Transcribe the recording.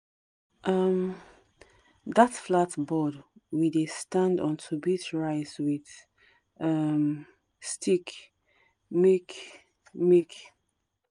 um that flat board we dey stand on to beat rice with um stick make make